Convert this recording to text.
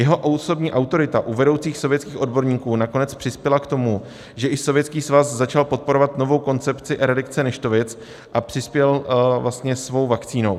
Jeho osobní autorita u vedoucích sovětských odborníků nakonec přispěla k tomu, že i Sovětský svaz začal podporovat novou koncepci eradikace neštovic a přispěl svou vakcínou.